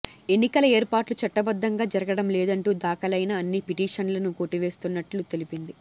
ఎన్నికల ఏర్పాట్లు చట్టబద్ధంగా జరగడం లేదంటూ దాఖలైన అన్ని పిటీషన్లను కొట్టివేస్తున్నట్టు తెలిపింది